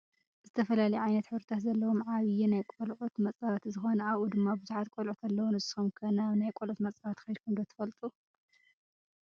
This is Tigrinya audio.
ዝተፈላለየ ዓይነት ሕብርታት ዘለዎም ዓብይ ናይ ቆልዕት መፃወቲ ዝኮነ ኣብኡ ድማ ብዙሓት ቆልዕት ኣለው። ንሱኩም ከ ናብ ናይ ቆልዑት መፃወቲ ከይድኩም ዶ ትፈልጡ?